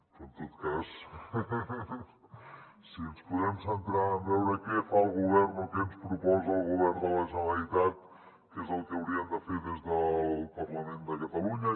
però en tot cas si ens podem centrar en veure què fa el govern o què ens proposa el govern de la generalitat què és el que hauríem de fer des del parlament de catalunya